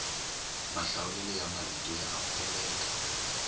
mahlawulelo ya marito ya amukeleka